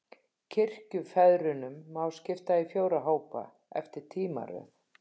Kirkjufeðrunum má skipta í fjóra hópa, eftir tímaröð.